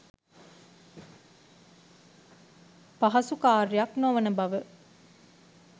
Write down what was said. පහසු කාර්යයක් නොවන බව